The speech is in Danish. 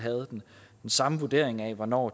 den samme vurdering af hvornår